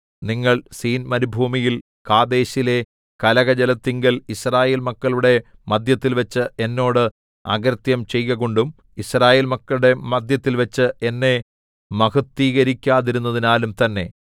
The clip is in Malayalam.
നിങ്ങൾ സീൻ മരുഭൂമിയിൽ കാദേശിലെ കലഹജലത്തിങ്കൽ യിസ്രായേൽ മക്കളുടെ മദ്ധ്യത്തിൽവച്ച് എന്നോട് അകൃത്യം ചെയ്കകൊണ്ടും യിസ്രായേൽ മക്കളുടെ മദ്ധ്യത്തിൽവച്ച് എന്നെ മഹത്വീകരിക്കാതിരുന്നതിനാലും തന്നെ